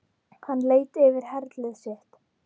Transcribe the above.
Hann leit yfir herlið sitt.